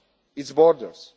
the EU beyond